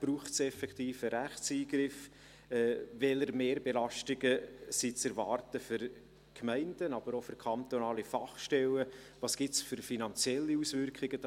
ob es effektiv einen Rechtseingriff braucht, welche Mehrbelastungen für die Gemeinden, aber auch für kantonale Fachstellen zu erwarten sind, welche finanziellen Auswirkungen sich ergäben.